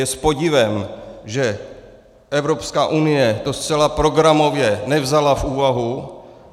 Je s podivem, že Evropská unie to zcela programově nevzala v úvahu.